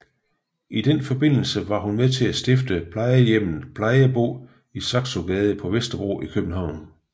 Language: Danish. I den forbindelse var hun med til at stifte plejehjemmet Plejebo i Saxogade på Vesterbro i København